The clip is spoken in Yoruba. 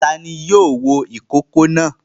Ta ni yóò wo ìkókó náà?